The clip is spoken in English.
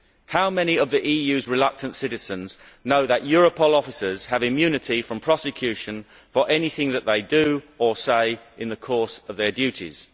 How many of the EU's reluctant citizens know that Europol officers have immunity from prosecution for anything that they do or say in the course of their duties?